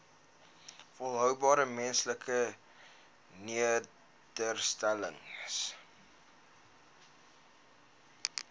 volhoubare menslike nedersettings